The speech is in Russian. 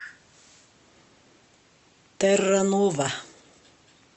тэрранова